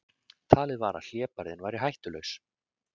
Talið var að hlébarðinn væri hættulaus